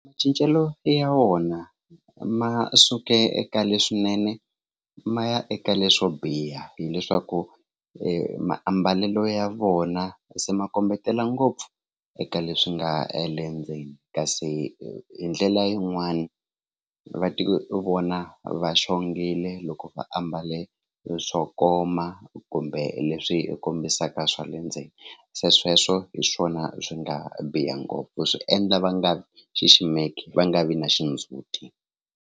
Macincelo ya wona ma suke eka leswinene ma ya eka leswo biha hileswaku maambalelo ya vona se ma kombetela ngopfu eka leswi nga le ndzeni kasi hi ndlela yin'wani va tivona va xongile loko va ambale swo koma kumbe leswi kombisaka swa le ndzeni se sweswo hi swona swi nga biha ngopfu swi endla va nga vi xiximeka va nga vi na xindzhuti.